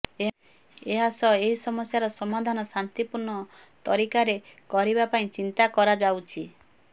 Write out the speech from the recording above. ଏହା ସହ ଏହି ସମସ୍ୟାର ସମାଧାନ ଶାନ୍ତିପୂଣ୍ର୍ଣ ତରିକାରେ କରିବା ପାଇଁ ଚିନ୍ତା କରାଯାଉଛି